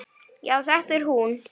Já, þetta er hún.